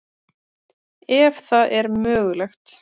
Ef það er mögulegt.